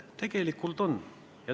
Tegelikult on.